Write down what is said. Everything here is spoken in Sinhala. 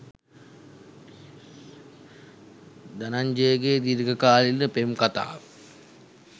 ධනංජයගේ දීර්ඝකාලීන පෙම් කතාව